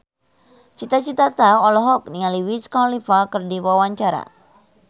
Cita Citata olohok ningali Wiz Khalifa keur diwawancara